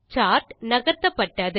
chart நகர்த்தப்பட்டது